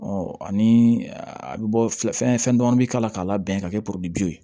ani a bɛ bɔ filɛ fɛn fɛn dɔn bɛ k'a la k'a labɛn ka kɛ